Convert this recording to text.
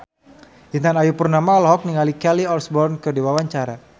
Intan Ayu Purnama olohok ningali Kelly Osbourne keur diwawancara